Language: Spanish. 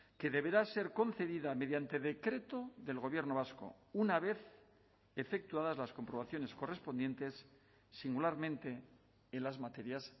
que deberá ser concedida mediante decreto del gobierno vasco una vez efectuadas las comprobaciones correspondientes singularmente en las materias